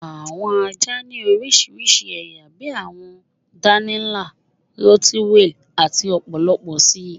Awọn àjá ni oríṣiríṣí ẹ̀yà bí àwọn dánìí nla, rottweiler, àti ọ̀pọ̀lọ̀pọ̀ sí.